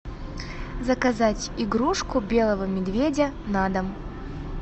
заказать игрушку белого медведя на дом